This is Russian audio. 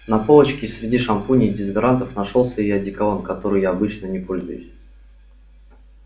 на полочке среди шампуней и дезодорантов нашёлся и одеколон который я обычно не пользуюсь